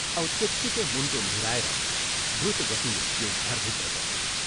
" औ त्यत्तिकै मुण्टो निहुराएर द्रुतगतिले त्यो घरभित्र पसी।